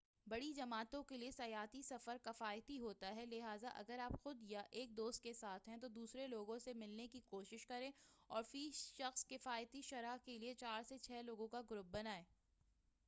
بڑی جماعتوں کیلئے سیاحتی سفر کفایتی ہوتا ہے لہذا اگر آپ صرف خود یا ایک دوست کے ساتھ ہیں تو دوسرے لوگوں سے ملنے کی کوشش کریں اور فی سخص کفایتی شرح کیلئے چار سے چھہ لوگوں کا گروپ بنائیں